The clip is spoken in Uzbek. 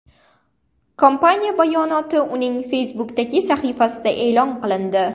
Kompaniya bayonoti uning Facebook’dagi sahifasida e’lon qilindi .